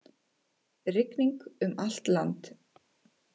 Rigning um allt land